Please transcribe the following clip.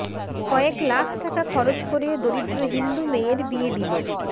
কয়েক লাখ টাকা খরচ করে দরিদ্র হিন্দু মেয়ের বিয়ে দিল